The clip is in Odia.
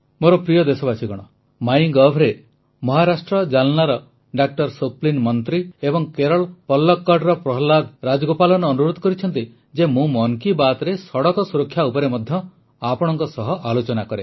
ମୋର ପ୍ରିୟ ଦେଶବାସୀଗଣ ମହାରାଷ୍ଟ୍ର ଜାଲ୍ନାର ଡା ସ୍ୱପ୍ନିଲ୍ ମନ୍ତ୍ରୀ ଏବଂ କେରଳ ପଲକ୍କଡ଼ର ପ୍ରହଲାଦ ରାଜଗୋପାଲନ ଅନୁରୋଧ କରିଛନ୍ତି ଯେ ମୁଁ ମନ୍ କୀ ବାତ୍ରେ ସଡ଼କ ସୁରକ୍ଷା ଉପରେ ମଧ୍ୟ ଆପଣଙ୍କ ସହ ଆଲୋଚନା କରେ